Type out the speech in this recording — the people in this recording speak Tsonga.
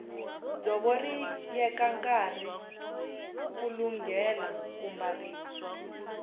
dzovo ri yeka nkarhi ku lunghela ku mbariwa